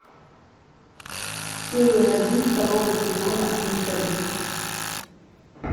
серия один второго сезона менталист